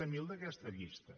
zero d’aquesta llista